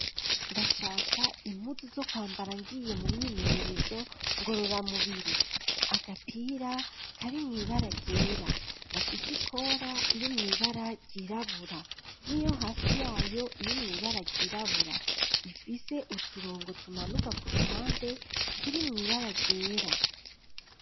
Ndashaka impuzu zo kwambara ngiye mu myimenyerezo ngorora mubiri agapira kari mwibara ryera gafise ikora iri mwibara ryirabura niyo hasi yayo iri mwibara ryirabura ifise uturongo tumanuka ku ruhande turi mwibara ryera